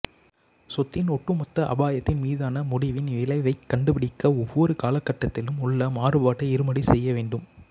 சொத்தின் ஒட்டுமொத்த அபாயத்தின் மீதான முடிவின் விளைவைக் கண்டுபிடிக்க ஒவ்வொரு காலகட்டத்திலும் உள்ள மாறுபாட்டை இருமடி செய்யவேண்டும்